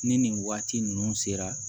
Ni nin waati ninnu sera